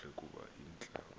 kakuhle kub ihlab